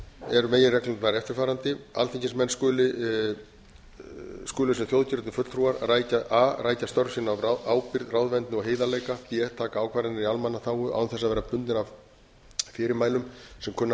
eru meginreglurnar eftirfarandi alþingismenn skulu sem þjóðkjörnir fulltrúar a rækja störf sín af ábyrgð ráðvendni og heiðarleika b taka ákvarðanir í almannaþágu án þess að vera bundnir af fyrirmælum sem kunna að vera